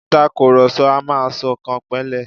Ìtakurọlsọ a máa ṣọkànpẹ̀lẹ́.